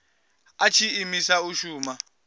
a tshi imiswa u shuma